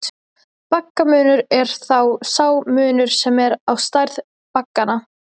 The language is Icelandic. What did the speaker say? Baggamunur er þá sá munur sem er á stærð bagganna.